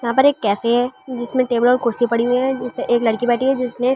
यहां पर एक कैफे है जिसमें टेबल और कुर्सी पड़ी हुई है जिसमें एक लड़की बैठी है जिसने--